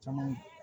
Caman